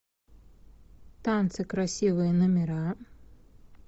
танцы красивые номера